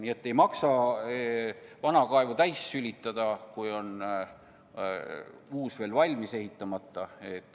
Nii et ei maksa vana kaevu enne sülitada, kui on uus valmis ehitamata.